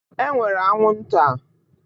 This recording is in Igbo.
E nwere anwụ nta.